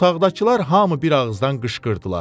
Otaqdakılar hamı bir ağızdan qışqırdılar: